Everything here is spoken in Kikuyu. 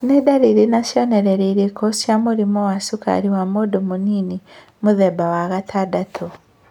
Nĩ ndariri na cionereria irĩkũ cia mũrimũ wa cukari wa mũndũ mũnini, mũthemba wa gatandatũ?